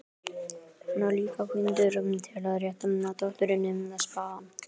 Hann var líka píndur til að rétta dótturinni spaðann.